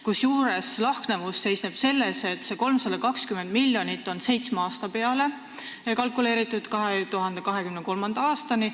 Kusjuures lahknevus seisneb selles, et see 320 miljonit on kalkuleeritud seitsme aasta peale, 2023. aastani.